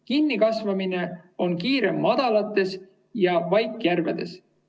Kinnikasvamine on kiirem madalates ja väikejärvedes.